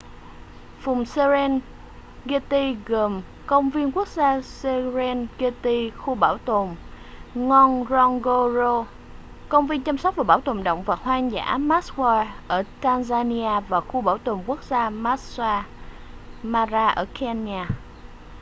vùng serengeti gồm công viên quốc gia serengeti khu bảo tồn ngorongoro công viên chăm sóc và bảo tồn động vật hoang dã maswa ở tanzania và khu bảo tồn quốc gia maasal mara ở kenya